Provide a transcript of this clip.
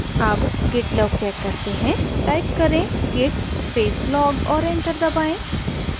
अब git log check करते हैं टाइप करें git space log और enter दबाएँ